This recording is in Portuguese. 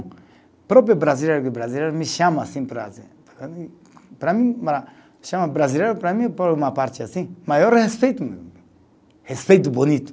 Próprio brasileiro que o brasileiro me chama assim. Para mim, chama brasileiro para mim por uma parte assim, maior respeito mesmo, respeito bonito.